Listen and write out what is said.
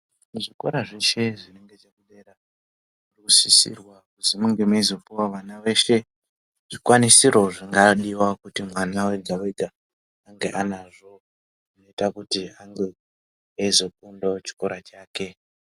Muzvikora zveshe zvinenge zviri dera zvinosisirwa kuzi munge meyizopuwayo vana weshe zvikwanisiro zvingadiwa kuti mwana wega wega ange anazvo kuita kuti ange eyizokundayo chikora chake.